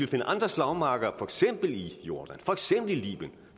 finde andre slagmarker for eksempel i jordan for eksempel i libyen